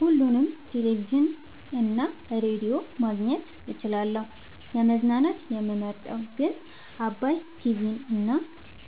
ሁሉንም ቴሌቪዥን እና ሬዲዮ ማግኘት እችላለሁ: : ለመዝናናት የምመርጠዉ ግን ዓባይ ቲቪንና